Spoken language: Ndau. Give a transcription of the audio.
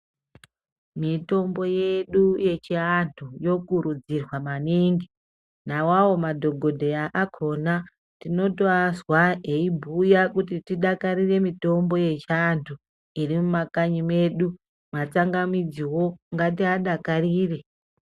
Mitombo yedu yechiantu yokurudzirwa maningi nawawo madhokodheya akhona tinotoazwa eibhuya kuti tidakarire mitombo yedu yechiantu iri mumakanyi mwedu matsangamidziwo ngatiadakarire.